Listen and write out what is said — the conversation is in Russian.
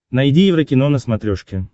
найди еврокино на смотрешке